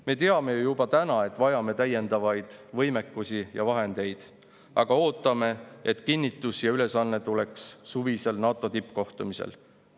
Me teame ju juba täna, et vajame täiendavaid võimeid ja vahendeid, aga ootame, et kinnitus ja ülesanne tuleksid suvisel NATO tippkohtumisel.